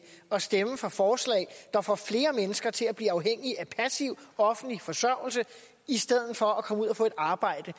at stemme for forslag der får flere mennesker til at blive afhængige af passiv offentlig forsørgelse i stedet for at komme ud og få et arbejde